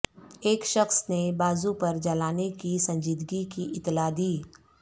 ایک شخص نے بازو پر جلانے کی سنجیدگی کی اطلاع دی